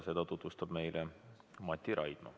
Seda tutvustab meile Mati Raidma.